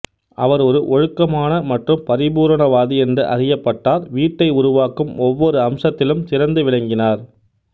அவர் ஒரு ஒழுக்கமான மற்றும் பரிபூரணவாதி என்று அறியப்பட்டார் வீட்டை உருவாக்கும் ஒவ்வொரு அம்சத்திலும் சிறந்து விளங்கினார்